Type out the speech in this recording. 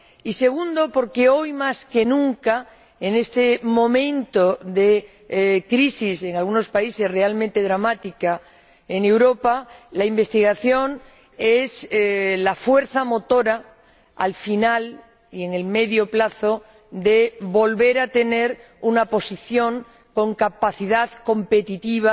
Y en segundo lugar, porque hoy más que nunca en este momento de crisis —en algunos países realmente dramática— en Europa, la investigación es la fuerza motora, al final y a medio plazo, para volver a tener una posición con capacidad competitiva